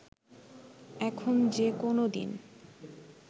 এখন যে কোনো দিন